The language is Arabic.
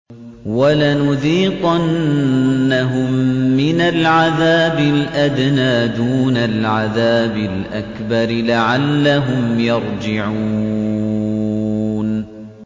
وَلَنُذِيقَنَّهُم مِّنَ الْعَذَابِ الْأَدْنَىٰ دُونَ الْعَذَابِ الْأَكْبَرِ لَعَلَّهُمْ يَرْجِعُونَ